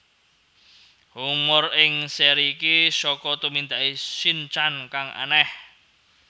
Humor ing seri iki saka tumindake Shin chan kang aneh